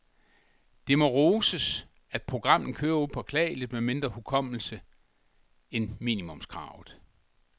Det må roses, at programmet kører upåklageligt med mindre hukommelse end minimumskravet.